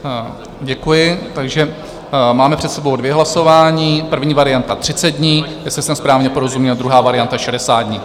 Děkuji, takže máme před sebou dvě hlasování, první varianta 30 dní, jestli jsem správně porozuměl, druhá varianta 60 dní.